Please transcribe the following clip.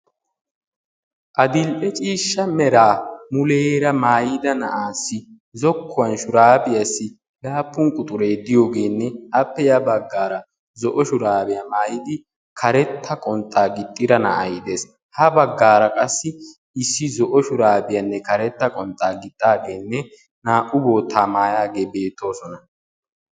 Adil'ee ciishsha meera muleera maayida na'aasi zokkuwan shurabiyassi laappun quxure diyogene appe ya baggara zoo shurabiya maayidi karetta qonxxa gixxida na'aay de'ees. Ha baggara qassi issi zoo shurabiyane karetta qonxxa giixidagene naa'u boota maayage betosona.